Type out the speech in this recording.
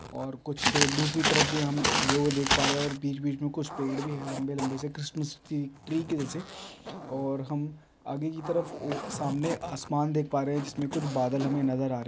और कुछ दूसरी तरफ भी हम उगे हुए देख पा रहे है और बीच -बीच में कुछ पेड़ भी है लंबे -लंबे से क्रिसमस ट्री टेरी की जैसे और हम आगे की तरफ वो सामने आसमान देख पा रहे है जिसमें कुछ बादल हमें नजर आ रहे हैं।